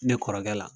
Ne kɔrɔkɛ la